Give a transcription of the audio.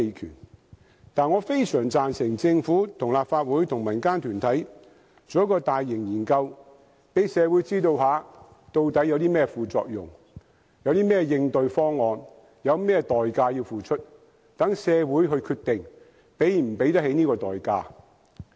然而，我非常贊成政府、立法會與民間團體進行一項大型研究，讓社會知道究竟有甚麼副作用、有甚麼應對方案，以及要付出甚麼代價，讓社會決定能否承擔這些代價。